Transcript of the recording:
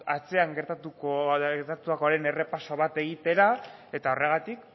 atzean gertatutakoaren errepaso bat egitera eta horregatik